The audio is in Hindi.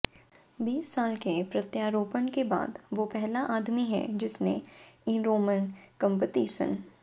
बीस साल के प्रत्यारोपण के बाद वो पहला आदमी है जिसने इरोंमन कम्पितिसन